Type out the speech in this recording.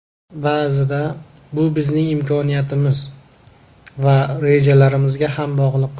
Ba’zida bu bizning imkoniyatimiz va rejalarimizga ham bog‘liq.